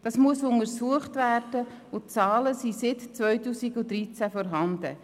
Das muss untersucht werden, und die Zahlen sind seit 2013 vorhanden.